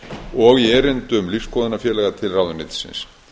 og í erindum lífsskoðunarfélaga til ráðuneytisins